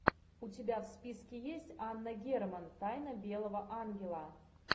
у тебя в списке есть анна герман тайна белого ангела